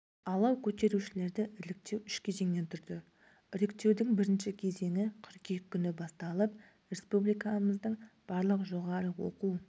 алау көтерушілерді іріктеу үш кезеңнен тұрды іріктеудің бірінші кезеңі қыркүйек күні басталып республикамыздың барлық жоғары оқу